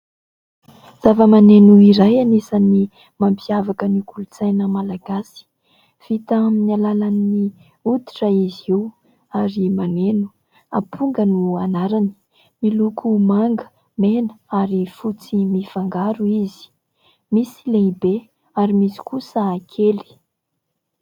Zava-maneno iray anisany mampiavaka ny kolotsaina Malagasy, vita amin'ny alalan'ny hoditra izy io ary maneno, amponga no anarany, miloko manga, mena ary fotsy mifangaro izy, misy lehibe ary misy kosa kely.